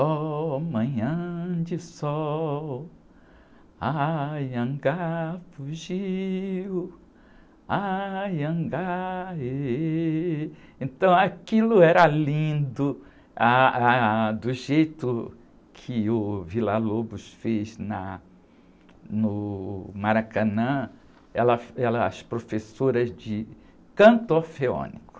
Ó manhã de sol, anhangá fugiu, anhangá êh, êh... Então aquilo era lindo, ah, ah, ah, do jeito que o Vila Lobos fez na, no Maracanã, ela, ela, as professoras de canto orfeônico.